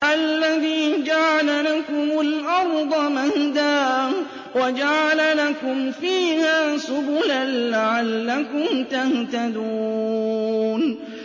الَّذِي جَعَلَ لَكُمُ الْأَرْضَ مَهْدًا وَجَعَلَ لَكُمْ فِيهَا سُبُلًا لَّعَلَّكُمْ تَهْتَدُونَ